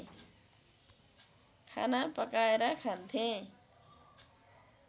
खाना पकाएर खान्थेँ